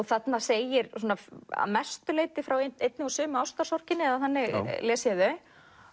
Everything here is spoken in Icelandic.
þarna segir að mestu leyti frá einni og sömu ástarsorginni eða þannig les ég þau